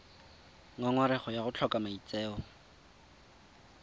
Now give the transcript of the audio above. ngongorego ya go tlhoka maitseo